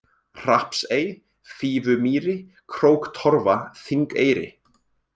Hrappsey, Fífumýri, Króktorfa, Þingeyri